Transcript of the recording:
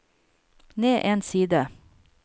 ned en side